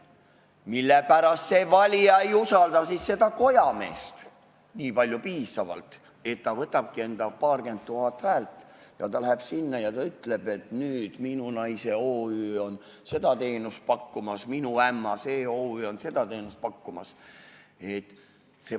Mispärast see valija ei usalda siis seda kojameest nii palju, et see võtabki enda paarkümmend tuhat häält, läheb sinna ja ütleb, et nüüd minu naise OÜ on seda teenust pakkumas ja minu ämma OÜ on seda teenust pakkumas?